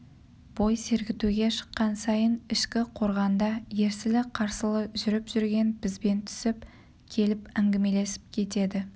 бой сергітуге шыққан сайын ішкі қорғанда ерсілі-қарсылы жүріп жүрген бізбен түсіп келіп әңгімелесіп кетеді